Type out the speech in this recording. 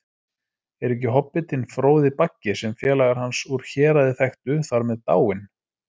Er ekki hobbitinn Fróði Baggi, sem félagar hans úr Héraði þekktu, þar með dáinn?